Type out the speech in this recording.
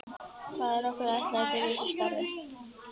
Hvað er okkur ætlað að gera í þessu starfi?